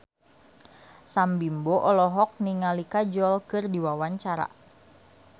Sam Bimbo olohok ningali Kajol keur diwawancara